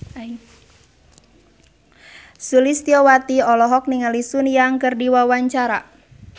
Sulistyowati olohok ningali Sun Yang keur diwawancara